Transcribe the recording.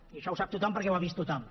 i això ho sap tothom perquè ho ha vist tothom